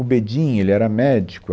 O Bedim, ele era médico.